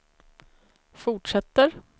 fortsätter